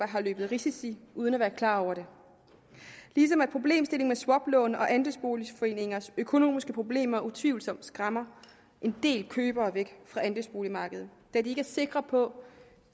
har løbet risici uden at være klar over det ligesom problemstillingen med swaplån og andelsboligforeningers økonomiske problemer utvivlsomt skræmmer en del købere væk fra andelsboligmarkedet da de ikke er sikre på